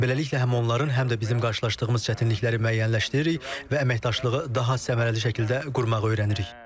Beləliklə həm onların, həm də bizim qarşılaşdığımız çətinlikləri müəyyənləşdiririk və əməkdaşlığı daha səmərəli şəkildə qurmağı öyrənirik.